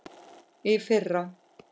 Í fyrra.